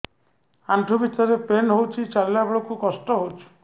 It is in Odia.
ଆଣ୍ଠୁ ଭିତରେ ପେନ୍ ହଉଚି ଚାଲିଲା ବେଳକୁ କଷ୍ଟ ହଉଚି